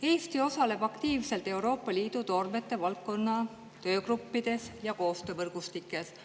Eesti osaleb aktiivselt Euroopa Liidu toormete valdkonna töögruppides ja koostöövõrgustikes.